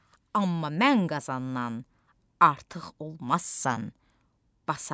Amma mən Qazandan artıq olmazsan, Basat.